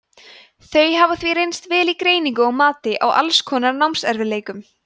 þau hafa því reynst vel í greiningu og mati á alls konar námserfiðleikum